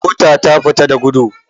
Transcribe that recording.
Mota ta fita da gudu.